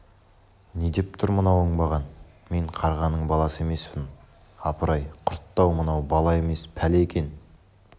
не деп тұр мына оңбаған мен қарғаның баласы емеспін апыр-ай құртты-ау мынау бала емес пәле екен